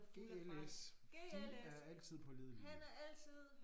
GLS de er altid pålidelige